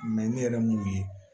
ne yɛrɛ ye mun ye